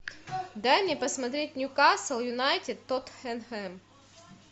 дай мне посмотреть ньюкасл юнайтед тоттенхэм